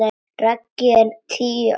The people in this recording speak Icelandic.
Raggi er tíu.